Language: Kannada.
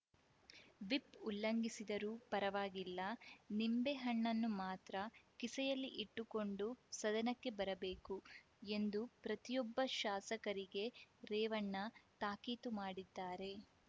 ವಿಪ್‌ ಉಲ್ಲಂಘಿಸಿದರೂ ಪರವಾಗಿಲ್ಲ ನಿಂಬೆಹಣ್ಣನ್ನು ಮಾತ್ರ ಕಿಸೆಯಲ್ಲಿ ಇಟ್ಟುಕೊಂಡು ಸದನಕ್ಕೆ ಬರಬೇಕು ಎಂದು ಪ್ರತಿಯೊಬ್ಬ ಶಾಸಕರಿಗೆ ರೇವಣ್ಣ ತಾಕೀತು ಮಾಡಿದ್ದಾರೆ